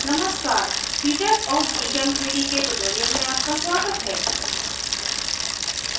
नमस्कार features of gchem3d के इस tutorial में आपका स्वागत है